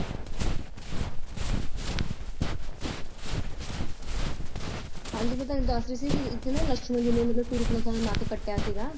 ਹਾਂਜੀ ਮੈਂ ਤੁਹਾਨੂੰ ਦੱਸ ਰਹੀ ਸੀ ਕਿ ਐਥੇ ਨਾ ਲਕਸ਼ਮਣ ਜੀ ਨੇ ਮਤਲਬ ਸੁਪ੍ਰਨਖਾ ਦਾ ਨੱਕ ਕਟਿਆ ਸੀਗਾ ।